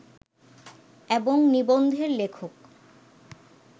এবং নিবন্ধের লেখক